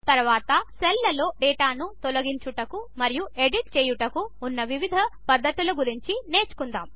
తరువాత సెల్స్లో డేటాను తొలగించుట మరియు ఎడిట్ చేయుటకు ఉన్న వివిధ పద్ధతుల గురించి నేర్చుకుందాము